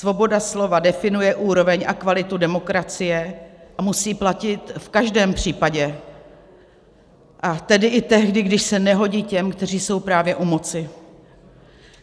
Svoboda slova definuje úroveň a kvalitu demokracie a musí platit v každém případě, a tedy i tehdy, když se nehodí těm, kteří jsou právě u moci.